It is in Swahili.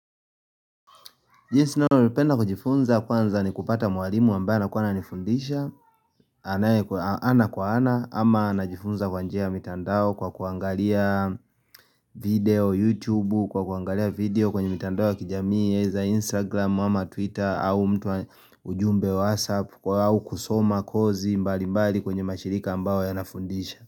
Jinsi ninayopenda kujifunza kwanza ni kupata mwalimu ambaye anakuwa ana nifundisha ana kwa ana ama na jifunza kwa njia ya mitandao kwa kuangalia video, youtube kwa kuangalia video kwenye mitandao ya kijamii za instagram wa ma twitter au mtu wa ujumbe whatsapp kwa au kusoma kozi mbali mbali kwenye mashirika ambayo yanafundisha.